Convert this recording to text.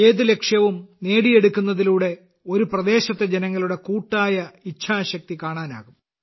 ഏത് ലക്ഷ്യവും നേടിയെടുക്കുന്നതിലൂടെ ഒരു പ്രദേശത്തെ ജനങ്ങളുടെ കൂട്ടായ ഇച്ഛാശക്തി കാണാനാകും